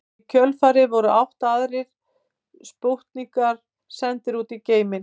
Í kjölfarið voru átta aðrir spútnikar sendir út í geiminn.